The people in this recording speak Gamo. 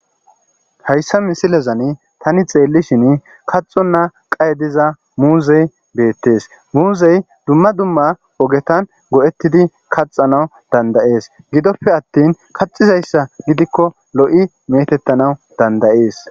Hayissa missilezanni tani xelishshin kaxona qaye diza muzeyi des.muzeyi dumma dumma ogetanni go'etiddi kaxanawu danida'es.gidoppe attin kaxizayissa gidikko lo'i metetanawu danida'es.